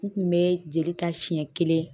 N kun be jeli ta siɲɛ kelen